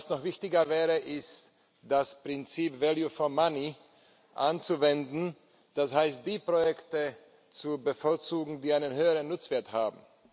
Noch wichtiger wäre es, das Prinzip value for money anzuwenden, das heißt, die Projekte zu bevorzugen, die einen höheren Nutzwert haben.